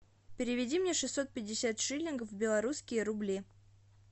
переведи мне шестьсот пятьдесят шиллингов в белорусские рубли